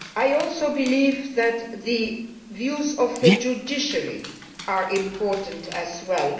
I also believe that the views of the judiciary are important as well.